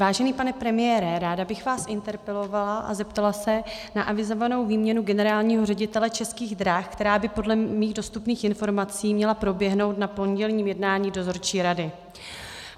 Vážený pane premiére, ráda bych vás interpelovala a zeptala se na avizovanou výměnu generálního ředitele Českých drah, která by podle mých dostupných informací měla proběhnout na pondělním jednání dozorčí rady.